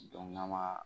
n'a ma